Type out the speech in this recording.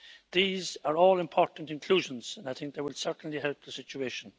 These are all important inclusions, and I think they will certainly help the situation.